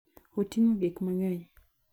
Oting'o gik mang'eny.